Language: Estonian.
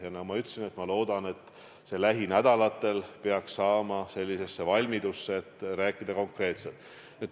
Ja nagu ma ütlesin, ma loodan, et lähinädalatel peaks strateegia saama sellisesse valmidusse, et rääkida konkreetselt.